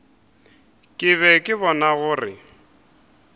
ke be ke bona gore